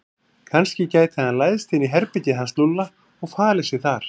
Kannski gæti hann læðst inn í herbergið hans Lúlla og falið sig þar.